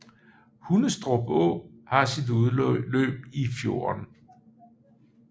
Hundstrup Å har sit udløb i fjorden